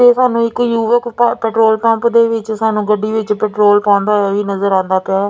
ਤੇ ਸਾਨੂੰ ਇੱਕ ਯੁਵਕ ਪੈਟਰੋਲ ਪੰਪ ਦੇ ਵਿੱਚ ਸਾਨੂੰ ਗੱਡੀ ਵਿੱਚ ਪੈਟਰੋਲ ਪਾਉਣ ਹੋਇਆ ਵੀ ਨਜ਼ਰ ਆਉਂਦਾ ਪਿਆ --